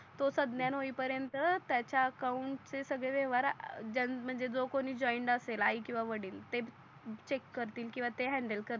तो संज्ञान होई पर्यंत त्याच्या अकाउन्ट चेसगळे व्यवहार जे म्हणजे जो कोणी जोइंड असेल आई किवा वडील ते चेक करतील किवा ते हॅंडल करतील